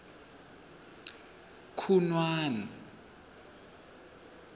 khunwana